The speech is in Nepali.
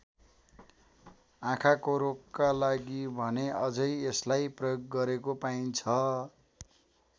आँखाको रोगका लागि भने अझै यसलाई प्रयोग गरेको पाइन्छ।